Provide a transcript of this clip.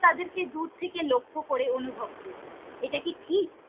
তাদের কে দূর থেকে লক্ষ্য করে অনুভব করি এটা কি ঠিক?